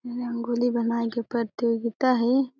रंगोली बनाए के प्रतियोगिता हे।